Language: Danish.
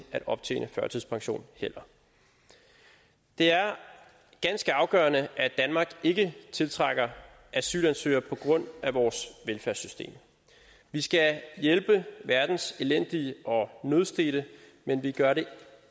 at optjene førtidspension det er ganske afgørende at danmark ikke tiltrækker asylansøgere på grund af vores velfærdssystem vi skal hjælpe verdens elendige og nødstedte men vi gør det